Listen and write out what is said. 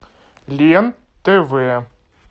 лен тв